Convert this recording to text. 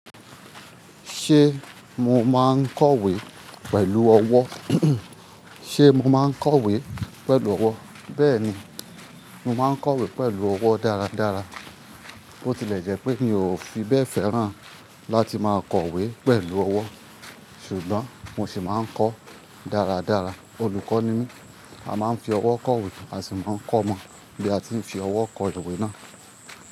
Ṣé mo máa ń kọ̀wé pẹ̀lú ọwọ́? Ṣé mo máa ń kọ̀wé pẹ̀lú ọwọ́? Bẹ́ẹ̀ni, mo máa ń kọ̀wé pẹ̀lú ọwọ́ dáradára. Bó tilẹ̀ jẹ́ pé mi ò fi bẹ́ẹ̀ fẹ́ràn láti máa kọ̀wé pẹ̀lú ọwọ́, ṣùgbọ́n mo sì máa ń kọ dáradára. Olùkọ́ ni mí, a máa ń fi ọwọ́ kọ̀wé, a sì máa ń kọ́ ọ mọ bí a ti ń fi ọwọ́ kọ ìwé náà.